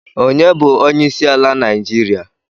Ọnye bu onyeisiala Naijiria?